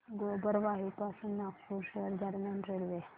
गोबरवाही पासून नागपूर शहर दरम्यान रेल्वे